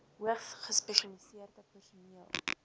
hoogs gespesialiseerde personeel